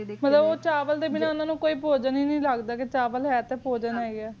ਹੀ ਮਤਲਬ ਚਾਵਲਾ ਤ ਬਿਨਾਹ ਉਨਾ ਨ ਕੀ ਭੂਜਨ ਹੀ ਨਹੀ ਲਗ੍ਰਦਾ ਕ ਚਾਵਲ ਹੈ ਟੀ ਫੂਜਨ ਹੈ ਗਾ ਆ